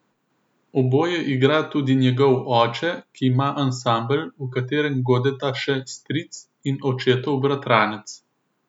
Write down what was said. Oboje igra tudi njegov oče, ki ima ansambel, v katerem godeta še stric in očetov bratranec.